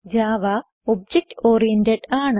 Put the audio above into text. Java object oriented ആണ്